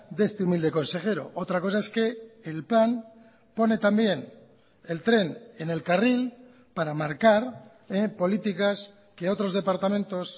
de este humilde consejero otra cosa es que el plan pone también el tren en el carril para marcar políticas que otros departamentos